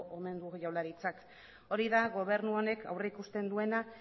omen du jaurlaritzak hori da gobernu honek aurrikusten duena